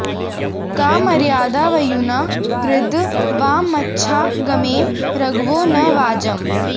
का म॒र्यादा॑ व॒युना॒ कद्ध॑ वा॒ममच्छा॑ गमेम र॒घवो॒ न वाज॑म्